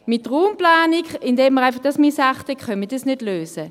Indem man einfach die Raumplanung missachtet, können wir das nicht lösen.